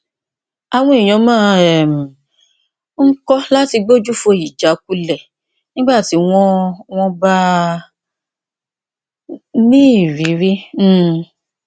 àwọn èèyàn máa um ń kọ láti gbójú fo ìjákulẹ nígbà tí wọn wọn bá ní ìrírí um